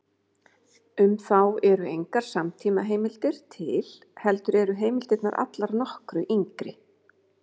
Um þá eru engar samtímaheimildir til, heldur eru heimildirnar allar nokkru yngri.